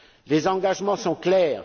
Les engagements sont clairs.